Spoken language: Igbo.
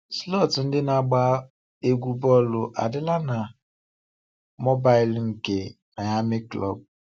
Slọọt ndị ike na-agba egwu bọọlụ adịla na mobaịl nke Miami Club.